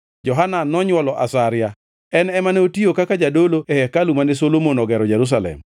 Johanan nonywolo Azaria. En ema ne otiyo kaka jadolo e hekalu mane Solomon ogero Jerusalem.